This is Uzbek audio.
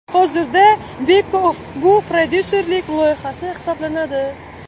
Hozirda @Beckoff bu prodyuserlik loyihasi hisoblanadi.